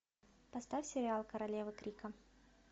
поставь сериал королева крика